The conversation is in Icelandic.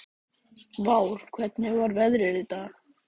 Vár, hvernig er veðrið í dag?